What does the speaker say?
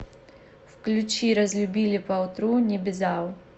включи разлюбили по утру небезао